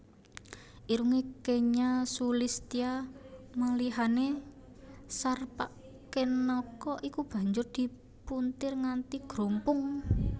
Irungé kenya sulistya malihané Sarpakenaka iku banjur dipuntir nganti grumpung